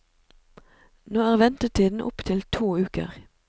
Nå er ventetiden opp til to uker.